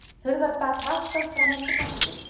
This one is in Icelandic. Hurðarbak vaktað fram eftir nóttu